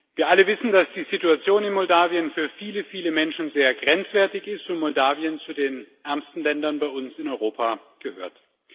Wir alle wissen, dass die Situation in Moldau für viele, viele Menschen sehr grenzwertig ist und Moldau zu den ärmsten Ländern bei uns in Europa gehört.